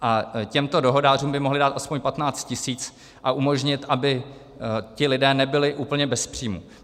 A těmto dohodářům by mohli dát aspoň 15 tisíc a umožnit, aby ti lidé nebyli úplně bez příjmu.